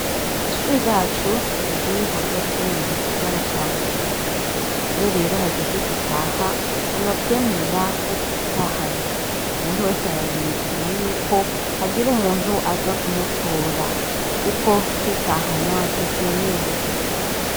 Ishure ryacu riri hagati mu gisagara ca bujumbura iyo rero hageze gutaha nti ba twemerera ko twitahana umuntu wese ararindira yuko hagira umuntu aza kumutora, kuko kwitahana ntivyemewe.